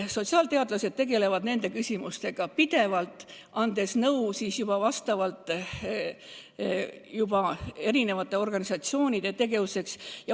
Sotsiaalteadlased tegelevad nende küsimustega pidevalt, andes nõu ka erinevate organisatsioonide tegevuseks.